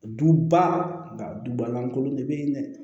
Duba dubalankolon de bɛ yen dɛ